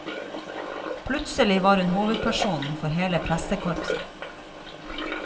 Plutselig var hun hovedperson for hele pressekorpset.